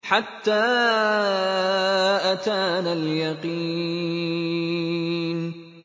حَتَّىٰ أَتَانَا الْيَقِينُ